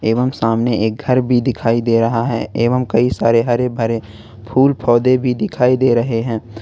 एवं सामने एक घर भी दिखाई दे रहा है एवं कई सारे हरे भरे फूल पौधे भी दिखाई दे रहे हैं।